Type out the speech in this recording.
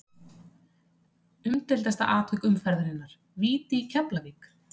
Umdeildasta atvik umferðarinnar: Víti í Keflavík?